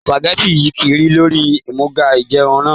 Sùpàgẹ́tì yí kiri lórí àmúga ìjẹun náà